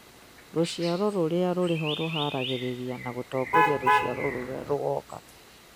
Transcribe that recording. Rũciaro rũrĩa rũrĩ ho rũharagĩrĩria na gũtongoria rũciaro rũrĩa rũgoka